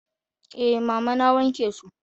Eh mama na wanke su.